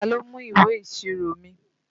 Ta ló mú ìwé ìṣirò mi?